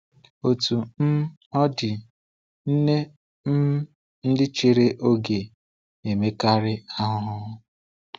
Otú um ọ dị, nne um ndị chere oge na-emekarị ahụhụ.